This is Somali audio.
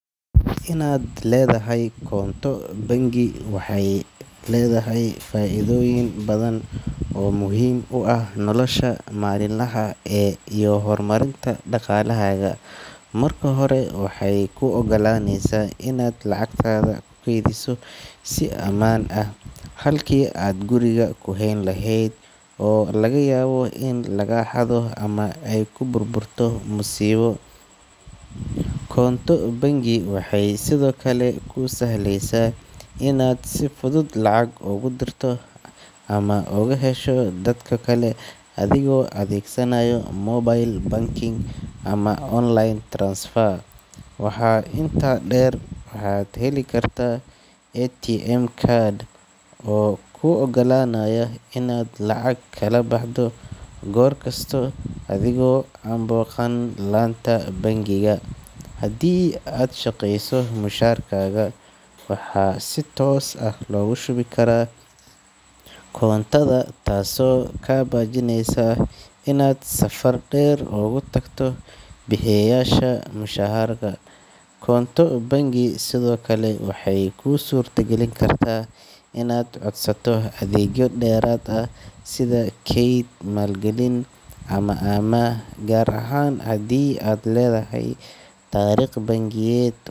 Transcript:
Inaad leedahay koonto bangi waxay leedahay faa’iidooyin badan oo muhiim u ah nolosha maalinlaha ah iyo horumarinta dhaqaalahaaga. Marka hore, waxay kuu oggolaanaysaa inaad lacagtaada ku kaydiso si ammaan ah, halkii aad guriga ku hayn lahayd oo laga yaabo in laga xado ama ay ku burburto masiibo. Koonto bangi waxay sidoo kale kuu sahlaysaa inaad si fudud lacag ugu dirto ama uga hesho dad kale adigoo adeegsanaya mobile banking ama online transfer. Waxaa intaa dheer, waxaad heli kartaa ATM card oo kuu oggolaanaya inaad lacag kala baxdo goor kasta adigoo aan booqan laanta bangiga. Haddii aad shaqeyso, mushaarkaaga waxaa si toos ah loogu shubi karaa koontada, taasoo kaa baajinaysa inaad safar dheer ugu tagto bixiyeyaasha mushaharka. Koonto bangi sidoo kale waxay kuu suurtagelin kartaa inaad codsato adeegyo dheeraad ah sida kayd, maalgelin ama amaah, gaar ahaan haddii aad leedahay taariikh bangiyeed.